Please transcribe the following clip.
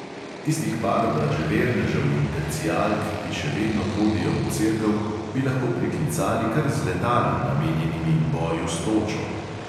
Tistih par vraževernežev in tercijalk, ki še vedno hodijo v cerkev, bi lahko priklicali kar z letali, namenjenimi boju s točo.